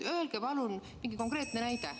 Tooge palun mingi konkreetne näide.